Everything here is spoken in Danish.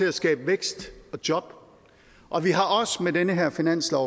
at skabe vækst og job og vi har også valgt med den her finanslov